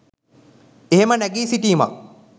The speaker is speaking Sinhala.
එහෙම නැගී සිටීමක්